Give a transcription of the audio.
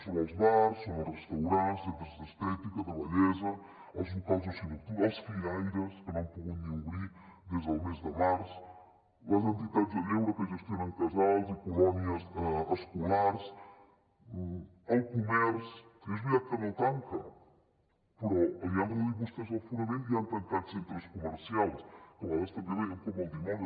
són els bars són els restaurants centres d’estètica de bellesa els locals d’oci nocturn els firaires que no han pogut ni obrir des del mes de març les entitats de lleure que gestionen casals i colònies escolars el comerç és veritat que no tanca però li han reduït vostès l’aforament i han tancat centres comercials que a vegades també els veiem com el dimoni